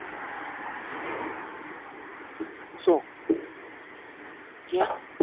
શું? ક્યાં?